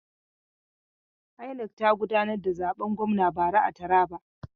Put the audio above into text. INEC ta gudanar da zaben gwamna bara a Taraba.